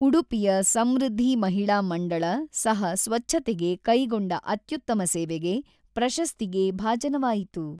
ಉಡುಪಿಯ ಸಮೃದ್ಧಿ ಮಹಿಳಾ ಮಂಡಳ ಸಹ ಸ್ವಚ್ಛತೆಗೆ ಕೈಗೊಂಡ ಅತ್ಯುತ್ತಮ ಸೇವೆಗೆ ಪ್ರಶಸ್ತಿಗೆ ಭಾಜನವಾಯಿತು.